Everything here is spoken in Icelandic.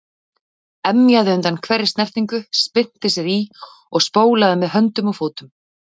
Emjaði undan hverri snertingu, spyrnti sér í og spólaði með höndum og fótum.